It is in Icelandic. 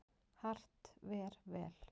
Hart ver vel.